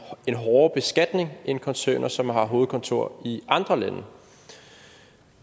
en hårdere beskatning end koncerner som har hovedkontor i andre lande